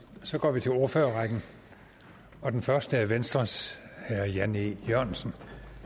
så går vi til ordførerrækken og den første er venstres herre jan e jørgensen